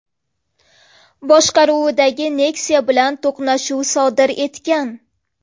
boshqaruvidagi Nexia bilan to‘qnashuv sodir etgan.